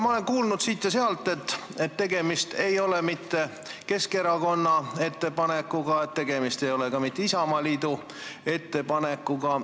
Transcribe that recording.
Ma olen kuulnud siit ja sealt, et tegemist ei ole mitte Keskerakonna ettepanekuga, tegemist ei ole ka mitte Isamaaliidu ettepanekuga.